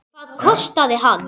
Hvað kostaði hann?